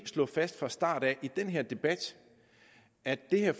slå fast fra start af i den her debat at det her